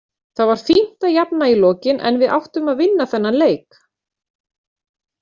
Það var fínt að jafna í lokin en við áttum að vinna þennan leik.